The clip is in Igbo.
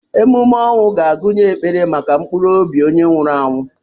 Emume ọnwụ ga-agụnye ekpere maka mkpụrụ obi onye nwụrụ anwụ.